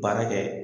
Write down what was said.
Baara kɛ